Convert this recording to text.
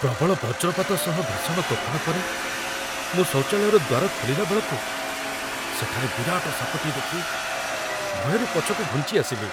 ପ୍ରବଳ ବଜ୍ରପାତ ସହ ଭୀଷଣ ତୋଫାନ ପରେ, ମୁଁ ଶୌଚାଳୟର ଦ୍ୱାର ଖୋଲିଲା ବେଳକୁ ସେଠାରେ ବିରାଟ ସାପଟିଏ ଦେଖି ଭୟରେ ପଛକୁ ଘୁଞ୍ଚିଆସିଲି।